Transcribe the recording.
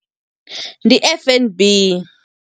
Ndi F_N_B.